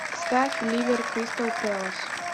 ставь ливер кристал пэлас